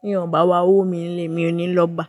Bí ènìyàn o bá wá wo mi nílé emi ò ní lọ bá.